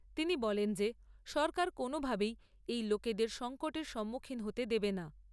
তিনি বলেন যে সরকার কোনোভাবেই এই লোকেদের সঙ্কটের সম্মুখীন হতে দেবে না।